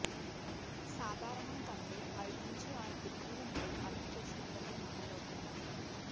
సాధారణం కంటే అయిదు నుంచి ఆరు డిగ్రీల మేర అదనపు ఉష్ణోగ్రతలు నమోదవుతున్నాయి